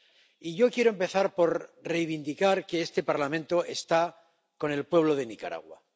Y yo quiero empezar por reivindicar que este Parlamento está con el pueblo de Nicaragua